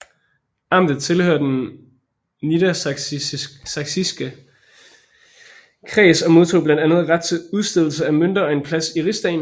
Amtet tilhørte den Niedersachsiske Kreds og modtog blandt andet ret til udstedelse af mønter og en plads i rigsdagen